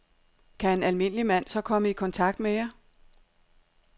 Kan en almindelig mand så komme i kontakt med jer?